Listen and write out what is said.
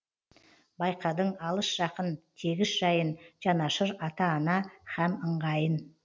байқадың алыс жақын тегіс жайын жанашыр ата ана һәм ыңғайын